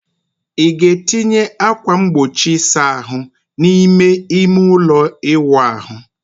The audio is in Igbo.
ị ga-etinye ákwà mgbochi ịsa ahụ n'ime ime ụlọ ịwụ ahụ?